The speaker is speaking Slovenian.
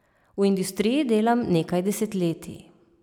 V industriji delam nekaj desetletij.